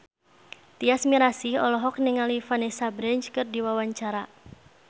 Tyas Mirasih olohok ningali Vanessa Branch keur diwawancara